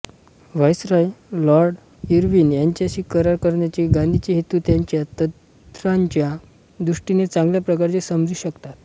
viceroy Lord Irwin यांच्याशी करार करण्याचे गांधींचे हेतू त्यांच्या तंत्राच्या दृष्टीने चांगल्या प्रकारे समजू शकतात